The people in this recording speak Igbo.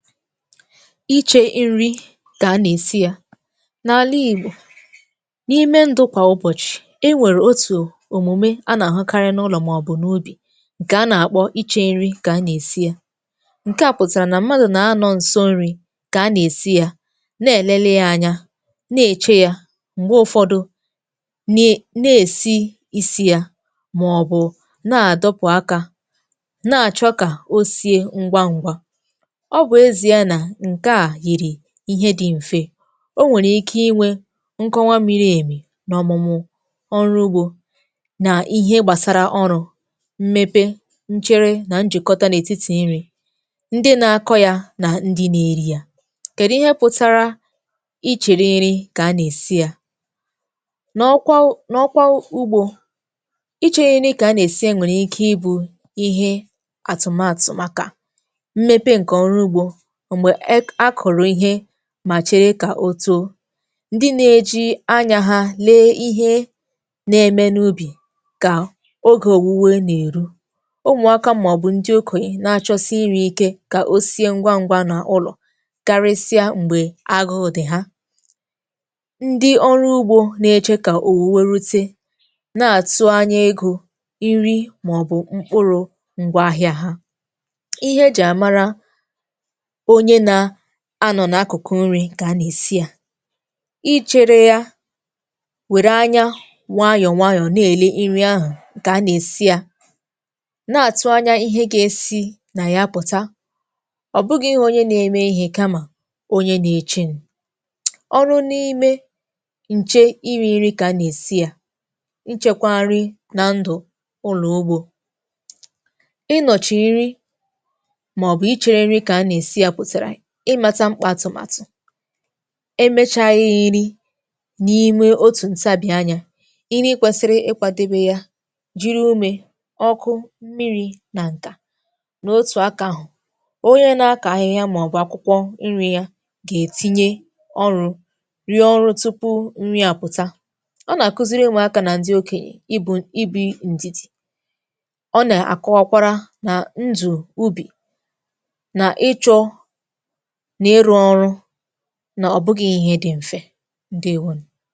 Ichė inri kà a nà-èsi yȧ, n’àla ìgbò, n’ime ndụ kwà ụbọ̀chị̀ e nwèrè otù òmùme a nà-àhụ karị na ụlọ̀ màọ̀bụ̀ n’ubì, ǹkè a nà-àkpọ ichė nri kà a nà-èsi yȧ. Ǹke à pụ̀tàrà nà mmadụ̀ nà anọ̇ nso nri̇ kà a nà-èsi yȧ, na-èlele ya anya, na-èche yȧ, m̀gbe ụfọdụ ne na-èsi isi yȧ, màọ̀bụ̀ na-àdọpụ̀ akȧ na-àchọ kà o sie ngwa ṅ̀gwa. Ọ bụ ezie a na ǹke à yìrì ihe dị̀ m̀fe, o nwèrè ike inwė nkọnwa miri èmì n’ọ̀mụ̀mụ̀ ọrụ ugbȯ nà ihe gbàsara ọrụ̇, mmepe, nchere nà njị̀kọta n’ètitì nri̇, ndị na-akọ̇ yȧ nà ndị na-eri yȧ. Kèdụ ihe pụ̀tara ichiri nri kà anà-èsi yȧ? N'ọkwa n’ọkwa ugbȯ, ichiri nri kà a nà-èsi ya nwèrè ike ịbụ̇ ihe àtụ̀matụ̀ màkà mmepe ǹkè ọrụ ugbȯ, mgbe e k akọrọ ihe, mà chere kà o too, ndị na-eji anyȧ ha lee ihe na-eme n’ubì kà ogè òwùwe nà èru, umụ̀aka màọ̀bụ̀ ndị okòyo na-achọsi iri̇ ike kà o sie ngwa ngwa nà ụlọ̀ karịsịa m̀gbè agụụ̀ dị ha. Ndị ọrụ ugbȯ na-eche kà òwùwe rute, na-àtụ anya egȯ, nri̇, màọ̀bụ̀ mkpụrụ̇ ǹgwa ahịa ha. Ihe eji àmara onye na-anọ̀ n’akụ̀kụ̀ nri̇ kà a nà-èsi yȧ, ichėrė ya, wèrè anyȧ wayọ̀ wayọ nà-èle iri̇ ahụ̀ nkà a nà-èsi yȧ, na-àtụ anyȧ ihe gȧ-esi̇ nà ya pụ̀ta, ọ̀ bụgi̇ ihe onye na-eme ihe kamà onye nȧ-eche n ọrụ n’ime nchė iri̇ nri kà a nà-èsi yȧ, nchekwa nri na ndụ̀ ụlọ̀ ugbȯ, ị nọ̀chì iri̇, maọbụ iche nri ka-ana esi ya pụtara imȧta mkpa àtụ̀màtụ̀, emechaa ihe iri n’imė otù ntabi anya, ịrị kwesịrị ịkwȧdebe ya, jiri umė, ọkụ, mmiri̇ na ǹkà, n’otù akȧ ahụ̀, onye na-akọ̀ ahịhịa màọ̀bụ̀ akwụkwọ nri ya, gà-ètinye ọrụ, rụọ ọrụ tupu nri àpụta. Ọ nà-àkụziri ụmụaka nà ndị okènyè ibu̇ ibi̇ ǹdidi, ọ na-akọwa kwara nà ndụ̀ ubì nà ịchọ̇, nà iru ọrụ, na ọ̀bụgà ihe dị̇ mfẹ̀, ǹdewȯnù.